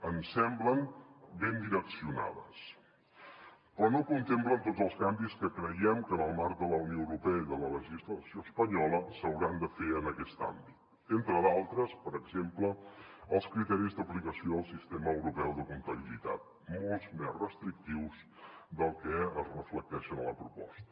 ens semblen ben direccionats però no contemplen tots els canvis que creiem que en el marc de la unió europea i de la legislació espanyola s’hauran de fer en aquest àmbit entre d’altres per exemple els criteris d’aplicació del sistema europeu de comptabilitat molt més restrictius dels que es reflecteixen a la proposta